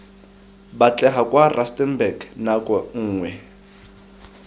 batlega kwa rustenburg nako nngwe